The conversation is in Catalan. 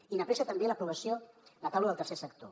i n’apressa també l’aprovació la taula del tercer sector